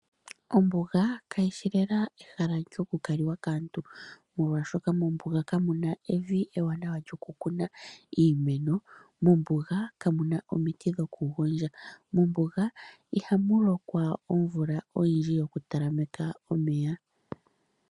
Ombuga kayishi lela ehala lyoku kaliwa kaantu molwashoka mombuga kamuna evi ewanawa lyoku kuna iimeno, mombuga kamuna omiiti dhoku gondja. Mombuga ihamu lokwa omvula oyindji yoku talameka omeya.